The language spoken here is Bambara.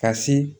Ka se